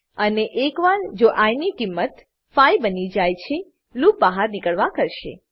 અને એકવાર જો આઇ ની કિંમત 5 બની જાય છે લૂપ બહાર નીકળવા કરશે